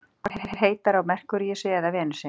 Hvort er heitara á Merkúríusi eða Venusi?